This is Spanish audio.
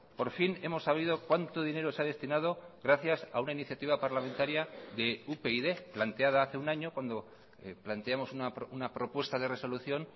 por fin hemos sabido cuánto dinero se ha destinado gracias a una iniciativa parlamentaria de upyd planteada hace un año cuando planteamos una propuesta de resolución